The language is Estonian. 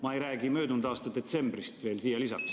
Ma ei räägi möödunud aasta detsembrist.